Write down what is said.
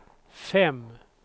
fem